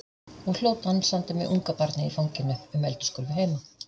Og hló dansandi með ungabarnið í fanginu um eldhúsgólfið heima.